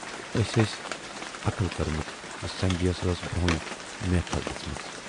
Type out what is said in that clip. أسۍ ٲس عقٕل کٔرمٕژ زِ سنجے یَس ٲس برونہےٕ میکھل دِژمٕژ۔